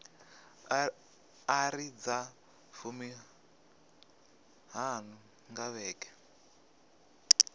iri dza fumiṱhanu nga vhege